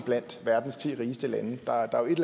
blandt verdens ti rigeste lande der er jo et